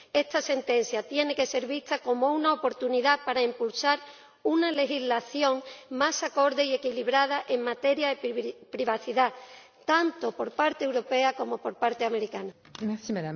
Esta sentencia tiene que ser vista como una oportunidad para impulsar una legislación más acorde y equilibrada en materia de privacidad, tanto por parte europea como por parte estadounidense.